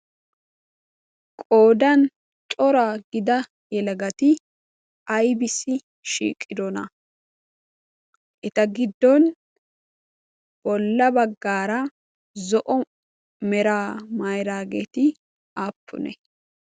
qodan cora gida yelagati ibissi shiiqirona eta giddon bolla baggaara zo7o mera mairaageeti aappune